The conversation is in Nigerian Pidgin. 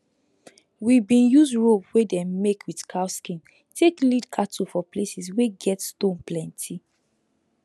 we bin use rope wey dem make with cow skin take lead cattle for places wey get stone plenty